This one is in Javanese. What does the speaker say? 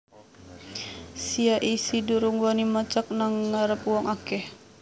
Sia isih durung wani macak nang ngarep wong akeh